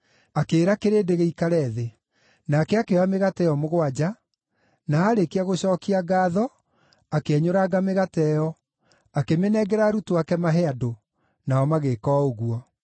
Akĩĩra kĩrĩndĩ gĩikare thĩ. Nake akĩoya mĩgate ĩyo mũgwanja, na aarĩkia gũcookia ngaatho akĩenyũranga mĩgate ĩyo, akĩmĩnengera arutwo ake mahe andũ, nao magĩĩka o ũguo.